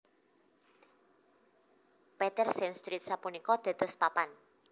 Peter s Street sapunika dados papan